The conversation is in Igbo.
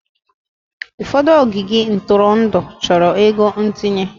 Ụfọdụ ogige ntụrụndụ chọrọ ego ntinye.